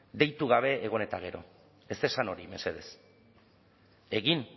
deitu gabe egon eta gero ez esan hori mesedez egin